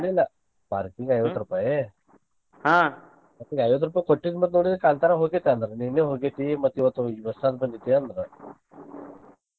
ಇಲ್ಲ ಇಲ್ಲ parking ಐವತ್ ರೂಪಾಯಿ ಮತ್ತ್ ಈಗ ಐವತ್ ರೂಪಾಯಿ ಕೊಟ್ಟಿನ ಮತ್ತ್ ಅವ್ರಿಗ ಕಾಂತಾರ ಹೊಗೆತಿ ಅಂದ್ರ ನಿನ್ನೆ ಹೊಗೆತಿ ಮತ್ತ್ ಇವತ್ತ್ ಹೊಸಾದ ಬಂದೇತಿ ಅಂದ್ರ .